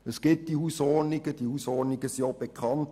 Es gibt diese Hausordnungen und sie sind auch bekannt.